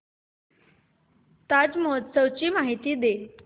ताज महोत्सव ची माहिती दे